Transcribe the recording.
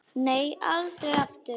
Nei, aldrei aftur.